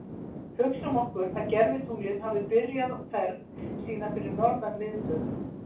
Hugsum okkur að gervitunglið hafi byrjað ferð sína fyrir norðan miðbaug.